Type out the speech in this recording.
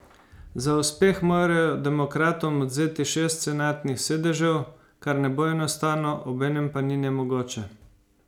Za uspeh morajo demokratom odvzeti šest senatnih sedežev, kar ne bo enostavno, obenem pa ni nemogoče.